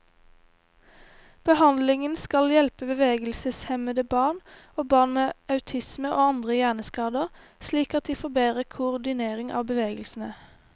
Behandlingen skal hjelpe bevegelseshemmede barn, og barn med autisme og andre hjerneskader slik at de får bedre koordinering av bevegelsene.